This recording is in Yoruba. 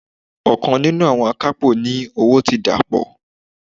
Okan ninu awon akapo ní owó ti dapo.